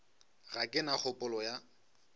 ga ke na kgopolo ya